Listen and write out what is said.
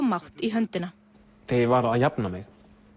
mátt í höndina þegar ég var að jafna mig